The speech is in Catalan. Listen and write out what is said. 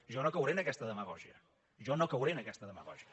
jo no cauré en aquesta demagògia jo no cauré en aquesta demagògia